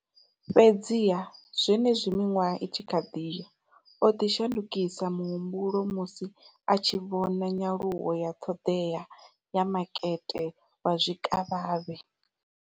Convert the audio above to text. Fhedziha, zwenezwi miṅwaha i tshi khou ḓi ya, o ḓo shandukisa muhumbulo musi a tshi vhona nyaluwo ya ṱhoḓea ya makete wa zwikavhavhe.